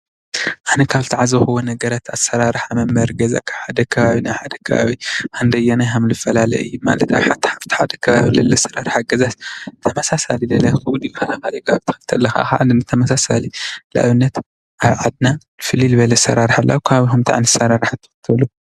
ኣነ ካብ ዝተዓዘብክዎ ነገራት ኣሰራርሓ መንበሪ ገዛ ካብ ሓደ ከባቢ ናብ ሓደ ከባቢ ክንደየናይ ከም ዝፈላለ እዩ ማለት ኣብ ሓደ ከባቢ ዘሎ ኣሰራርሓ ገዛስ ተመሳሳሊ ይከውን ኣብቲ ካልእ ዘሎ ኣሰራርሓ ገዛስ ተመሳሳሊ ንኣብነት ኣብ ዓድና ፍልይ ዝበለ ኣሰራርሓ ኣሎ ኣብ ከባቢኩም እንታይ ዓይነት ኣሰራርሓ ኣሎ?